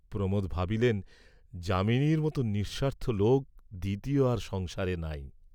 প্রমােদ ভাবিলেন, যামিনীর মত নিঃস্বার্থ লােক দ্বিতীয় আর সংসারে নাই।